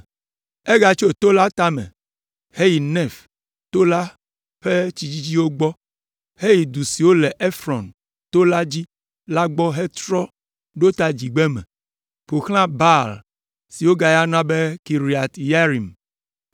Egatso to la tame heyi Nef to la ƒe tsi dzidziwo gbɔ heyi du siwo le Efrɔn to dzi la gbɔ hafi trɔ ɖo ta dzigbeme, ƒo xlã Baala (si wogayɔna be Kiriat Yearim)